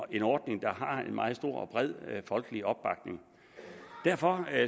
en ordning der har en meget stor og bred folkelig opbakning derfor